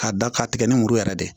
K'a da k'a tigɛ ni muru yɛrɛ de ye